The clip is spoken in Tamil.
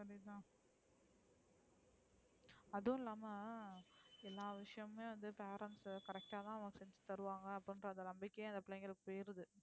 அதுவுமில்லாம எல்லா விஷயமுமே வந்து parents correct அ தான் நமக்கு தருவாங்க அப்டின்குற அந்த நம்பிக்க அந்த பிள்ளைகளுக்கு போயிருது,